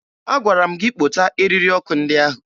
Agwara m gị kpota eriri ọkụ ndị ahụ!